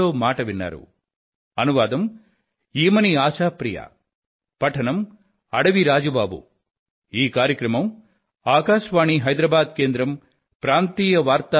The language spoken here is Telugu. మీకు ఇవే నా ధన్యవాదాలు